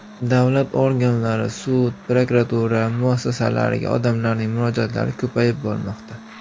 Davlat organlari, sud, prokuratura muassasalariga odamlarning murojaatlari ko‘payib bormoqda.